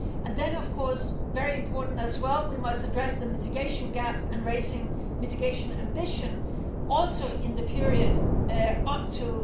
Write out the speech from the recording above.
Then of course very importantly as well we must address the mitigation gap and raising mitigation ambition also in the period up to